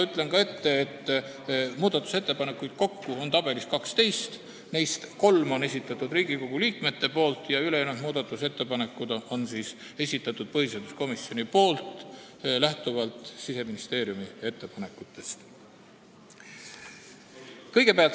Ütlen ette, et muudatusettepanekuid on tabelis kokku 12, neist kolm on esitanud Riigikogu liikmed ja ülejäänud muudatusettepanekud on esitanud põhiseaduskomisjon lähtuvalt Siseministeeriumi ettepanekutest.